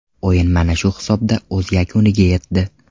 O‘yin mana shu hisobda o‘z yakuniga yetdi.